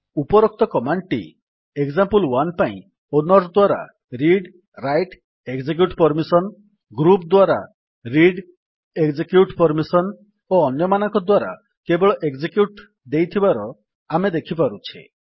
ଉପରୋକ୍ତ କମାଣ୍ଡ୍ ଟି ଏକ୍ସାମ୍ପଲ1 ପାଇଁ ଓନର୍ ଦ୍ୱାରା ରିଡ୍ରାଇଟ୍ଏକଜେକ୍ୟୁଟ୍ ପର୍ମିସନ୍ ଗ୍ରୁପ୍ ଦ୍ୱାରା ରିଡ୍ଏକଜେକ୍ୟୁଟ୍ ପର୍ମିସନ୍ ଓ ଅନ୍ୟମାନଙ୍କ ଦ୍ୱାରା କେବଳ ଏକଜେକ୍ୟୁଟ୍ ଦେଇଥିବାର ଆମେ ଦେଖିପାରୁଛେ